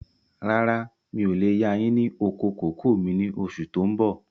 Rárá, mi ò lè yà yín ní oko kòkó mi ni oṣù tó ń bọ̀.